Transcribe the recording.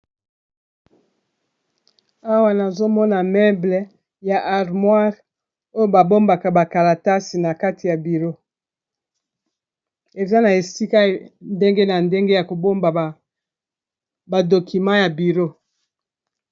Awa nazomona meuble ya armoire oyo ba bombaka bakalatasi na kati ya biro eza na esika ndenge na ndenge ya kobomba ba dokima ya biro.